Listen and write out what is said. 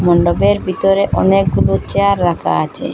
মণ্ডপের ভিতরে অনেকগুলো চেয়ার রাখা আছে।